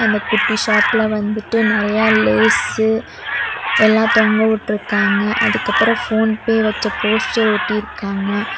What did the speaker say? அந்த குட்டி ஷாப்ல வந்துட்டு நெறைய லேஸு எல்லா தொங்கவுட்ருக்காங்க அதுக்கப்பறம் போன்பே வச்ச போஸ்டர் ஒட்டிருக்காங்க.